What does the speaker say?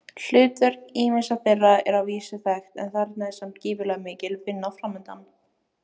Hlutverk ýmissa þeirra er að vísu þekkt en þarna er samt gífurlega mikil vinna framundan.